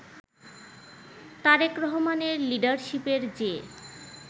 তারেক রহমানের লিডারশিপের যে